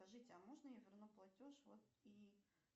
скажите а можно я верну платеж вот и